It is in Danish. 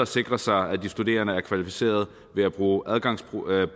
sikre sig at de studerende er kvalificeret ved at bruge adgangsprøver